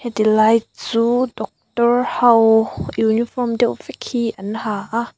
tilai chu doctor ho uniform deuh vek hi an ha a.